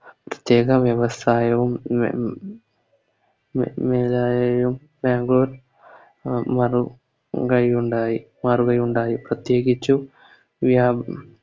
ഏക വ്യവസായവും ബാംഗ്ലൂർ ഉണ്ടായി അറിവുമുണ്ടായി പ്രേത്യകിച്ചും എ